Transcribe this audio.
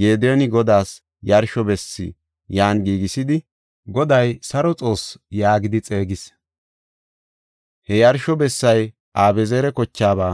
Gediyooni Godaas yarsho bessi yan giigisidi, “Goday Saro Xoossi” yaagidi xeegis. He yarsho bessay Abi7ezeera kochaaba